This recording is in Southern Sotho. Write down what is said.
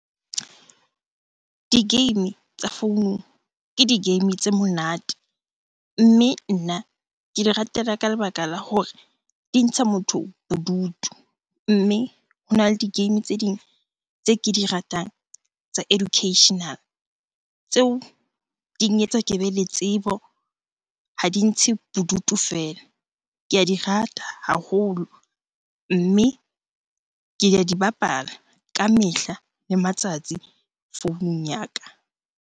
Di-game tsa founung ke di-game tse monate, mme nna ke di ratela ka lebaka la hore di ntsha motho bodutu. Mme hona le di-game tse ding tse ke di ratang tsa educational. Tseo di nketsa ke be le tsebo, ha di ntshe bodutu feela. Ke a di rata haholo, mme ke ya di bapala ka mehla le matsatsi founung ya ka.